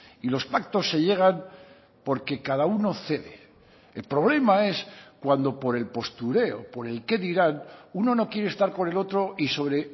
y los pactos se llegan porque cada uno cede el problema es cuando por el postureo por el qué dirán uno no quiere estar con el otro y sobre